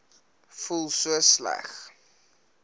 voel so sleg